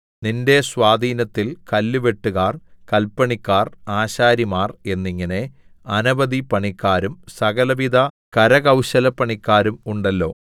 നിന്റെ സ്വാധീനത്തിൽ കല്ലുവെട്ടുകാർ കല്പണിക്കാർ ആശാരിമാർ എന്നിങ്ങനെ അനവധി പണിക്കാരും സകലവിധ കരകൗശലപ്പണിക്കാരും ഉണ്ടല്ലോ